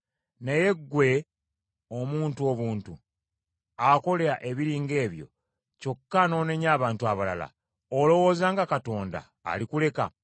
Naye ggwe omuntu obuntu, akola ebiri ng’ebyo, kyokka n’onenya abantu abalala, olowooza nga Katonda alikuleka?